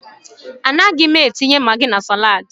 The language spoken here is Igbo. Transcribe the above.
A naghị m etinye magi na salaadi.